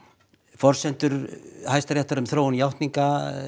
forsendur Hæstaréttar um þróun játninga